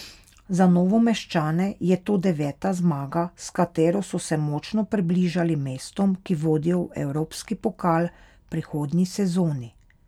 Za Novomeščane je to deveta zmaga, s katero so se močno približali mestom, ki vodijo v evropski pokal v prihodnji sezoni.